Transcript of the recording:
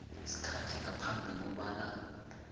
isikhathi ngaphambi kobana